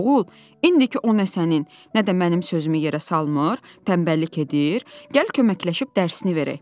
Oğul, indiki o nə sənin, nə də mənim sözümü yerə salmır, tənbəllik edir, gəl köməkləşib dərsini verək.